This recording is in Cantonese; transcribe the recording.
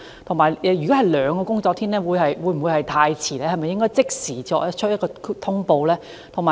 如果要花兩個工作天來通報，是否太遲，是否應即時作出通報？